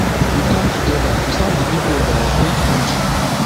we come togeda to serve di pipo of our great kontri